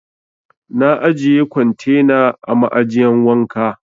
Na ajiye kwantena a ma'ajiyan wanka.